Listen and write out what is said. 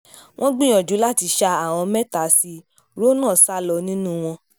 wọ́n gbìyànjú láti ṣa àwọn mẹ́ta sí rọ́nà sá lọ nínú wọn